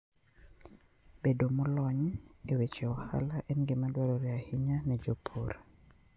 Bedo molony e weche ohala en gima dwarore ahinya ne jopur.